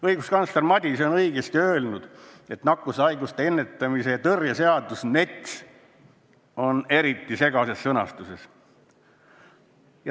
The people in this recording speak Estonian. Õiguskantsler Ülle Madise on õigesti öelnud, et nakkushaiguste ennetamise ja tõrje seadus ehk NETS on eriti segases sõnastuses.